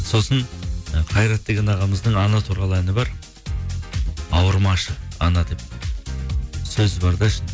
сосын ы қайрат деген ағамыздың ана туралы әні бар ауырмашы ана деп сөзі бар да